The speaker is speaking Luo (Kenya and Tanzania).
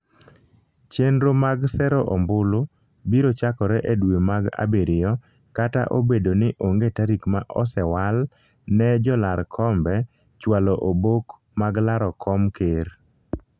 chenro mag sero ombulu biro chakore e dwe mag abiriyo kata obedo ni onge tarik ma osewal ne jolar kombe chwalo obok mag laro kom ker